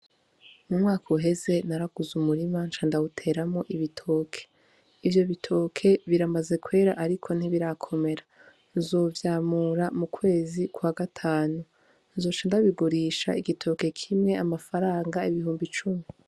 Umwaka uheze naraguze umurima ca ndawuteramwo ibitoke, ivyo bitoke biramaze kwera ariko ntibirakomera nzovyamura mu kwezi kwa gatanu nzoca ndabigurisha igitoke kimwe amafaranga ibihumbi cumi.